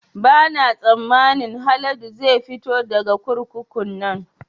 Ba na tsammanin Haladu zai fito daga kurkukun nan